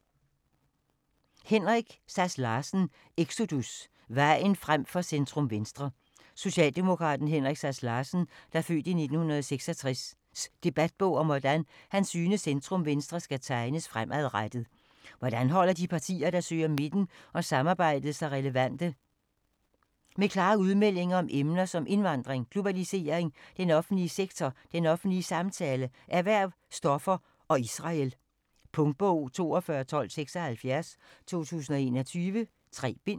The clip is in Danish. Sass Larsen, Henrik: Exodus: vejen frem for centrum-venstre Socialdemokraten Henrik Sass Larsens (f. 1966) debatbog om hvordan han synes centrum-venstre skal tegnes fremadrettet. Hvordan holder de partier der søger midten og samarbejdet sig relevante? Med klare udmeldinger om emner som indvandring, globalisering, den offentlige sektor, den offentlige samtale, erhverv, stoffer og Israel. Punktbog 421276 2021. 3 bind.